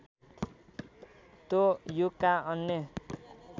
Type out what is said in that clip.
त्यो युगका अन्य